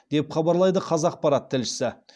деп хабарлайды қазақпарат тілшісі